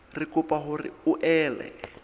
re kopa hore o ele